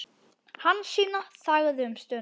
Hansína þagði um stund.